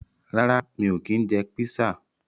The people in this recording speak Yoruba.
Rárá mi ò kí ń jẹ písà.